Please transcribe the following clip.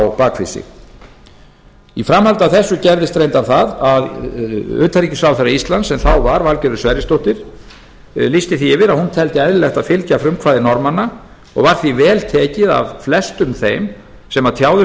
á bak við sig í framhaldi af þessu gerðist reyndar það að utanríkisráðherra íslands sem þá var valgerður sverrisdóttir lýsti því yfir að hún teldi eðlilegt að fylgja frumkvæði norðmanna og var því vel tekið af flestum þeim sem tjáðu sig